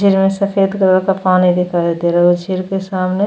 सिर में सफ़ेद कलर का पानी दिखाई दे रहा है वो सिर के सामने --